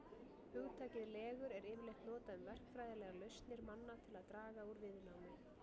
Hugtakið legur er yfirleitt notað um verkfræðilegar lausnir manna til að draga úr viðnámi.